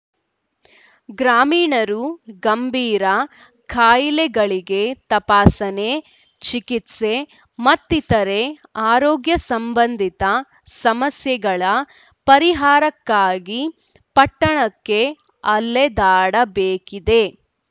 ಗ್ರಾಮೀಣರು ಗಂಭೀರ ಕಾಯಿಲೆಗಳಿಗೆ ತಪಾಸಣೆ ಚಿಕಿತ್ಸೆ ಮತ್ತಿತರರೆ ಆರೋಗ್ಯ ಸಂಬಂಧಿತ ಸಮಸ್ಯೆಗಳ ಪರಿಹಾರಕ್ಕಾಗಿ ಪಟ್ಟಣಕ್ಕೆ ಅಲೆದಾಡಬೇಕಿದೆ